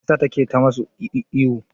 Mai ya sa take ta musu ihu?